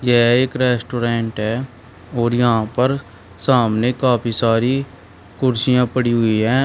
यह एक रेस्टोरेंट है और यहां पर सामने काफी सारी कुर्सियां पड़ी हुई हैं।